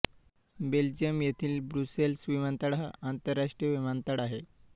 Belgium येथील Brussels विमानतळ हा आंतरराष्ट्रीय विमानतळ आहे